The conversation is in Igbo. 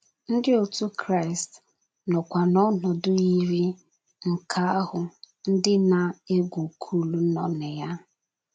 Ndị òtù Kraịst nọkwa n’ọnọdụ yiri nke ahụ ndị na - egwu kool nọ na ya.